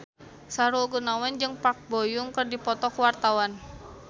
Sahrul Gunawan jeung Park Bo Yung keur dipoto ku wartawan